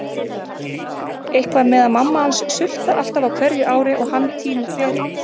Eitthvað með að mamma hans sultar alltaf á hverju ári og hann tínir berin.